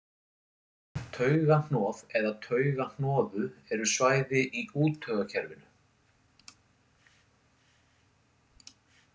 Taugahnoð eða taugahnoðu eru svæði í úttaugakerfinu.